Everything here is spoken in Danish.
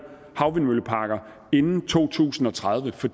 vindmølleparker inden to tusind og tredive for